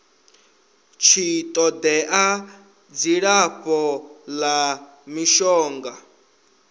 tshi todea dzilafho la mishonga